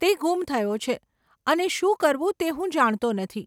તે ગુમ થયો છે અને શું કરવું તે હું જાણતો નથી.